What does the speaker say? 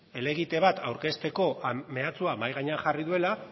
helegite bat aurkezteko mehatxua mahai gainean jarri duela